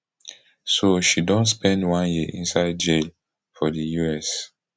so she don spend one year inside jail for di us